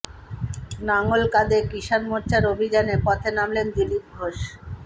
লাঙল কাঁধে কিষান মোর্চার অভিযানে পথে নামলেন দিলীপ ঘোষ